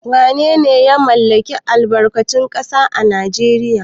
Wanene ya mallaki albarkatun ƙasa a Najeriya?